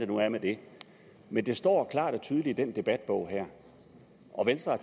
nu er med det men det står klart og tydeligt i den debatbog her og venstre